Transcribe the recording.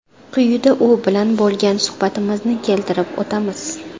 Quyida u bilan bo‘lgan suhbatimizni keltirib o‘tamiz.